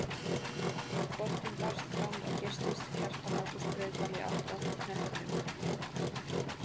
Boltinn barst fram og geystist Kjartan Ágúst Breiðdal í átt að knettinum.